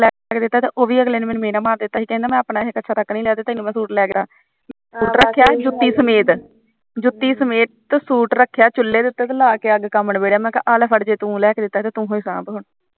ਉਹ ਵੀ ਮੈਨੂੰ ਮਹਿਣਾ ਮਾਰ ਦਿੱਤਾ ਸੀ ਕਹਿੰਦਾ ਮੈਂ ਆਪਣਾ ਤਾਂ ਇੱਕ ਕੱਛਾ ਤੱਕ ਨੀ ਲੀਆ ਤੇ ਤੈਨੂੰ ਮੈਂ ਸੂਟ ਲੈ ਤਾ ਸੂਟ ਰੱਖਿਆ ਜੂਤੀ ਸਮੇਤ ਜੁਤੀ ਸਮੇਤ ਸੂਟ ਰੱਖਿਆ ਚੂਲੇ ਦੇ ਉਤੇ ਲਾ ਕੇ ਅੱਗ ਕੰਮ ਨਬਿੜਿਆ ਮੈ ਕਿਹਾ ਆ ਲੈ ਫੜ ਜੇ ਤੂੰ ਲੈਕੇ ਤੇ ਤੂਹੇ ਸਾਭ ਹੁਣ